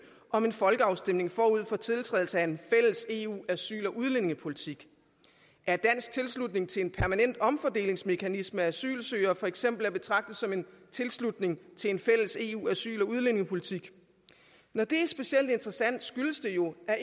om en folkeafstemning forud for tiltrædelse af en fælles eu asyl og udlændingepolitik er dansk tilslutning til en permanent omfordelingsmekanisme asylsøgere for eksempel at betragte som en tilslutning til en fælles eu asyl og udlændingepolitik når det er specielt interessant skyldes det jo at